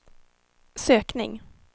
sökning